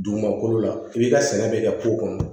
Dugumakolo la f'i ka sɛnɛ bɛ kɛ ko kɔnɔ